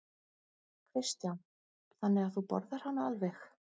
Kristján: Þannig að þú borðar hana alveg?